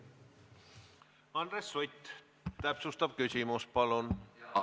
Andres Sutt, täpsustav küsimus, palun!